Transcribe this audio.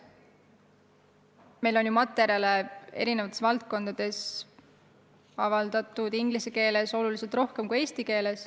Meil on ju erinevate valdkondade materjale inglise keeles avaldatud oluliselt rohkem kui eesti keeles.